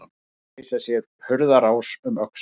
Að reisa sér hurðarás um öxl